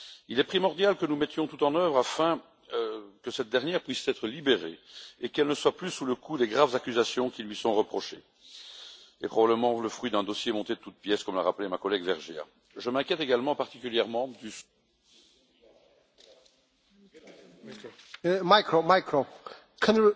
Il est primordial que nous mettions tout en œuvre afin que cette dernière puisse être libérée et qu'elle ne soit plus sous le coup des graves accusations qui lui sont reprochées, probablement le fruit d'un dossier monté de toutes pièces, comme l'a rappelé ma collègue Mme